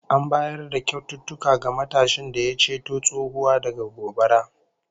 An bayar da kyaututtuka ga matashin da ya ceto tsohuwa daga gobara